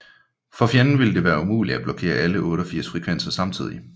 For fjenden ville det være umuligt at blokkere alle 88 frekvenser samtidigt